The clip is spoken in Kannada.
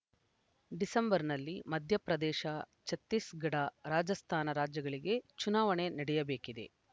ಡಿಸೆಂಬರ್‌ನಲ್ಲಿ ಮಧ್ಯಪ್ರದೇಶ ಛತ್ತೀಸ್‌ಗಢ ರಾಜಸ್ಥಾನ ರಾಜ್ಯಗಳಿಗೆ ಚುನಾವಣೆ ನಡೆಯಬೇಕಿದೆ